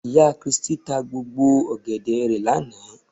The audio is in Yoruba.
Ìyá kiristí ta gbogbo ọ̀gẹ̀dẹ̀ rẹ̀ lánàá